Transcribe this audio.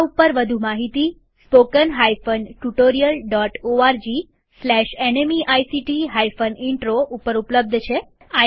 આ ઉપર વધુ માહિતી spoken hyphen tutorial dot O R G slash NMEICT hyphen intro ઉપર ઉપલબ્ધ છે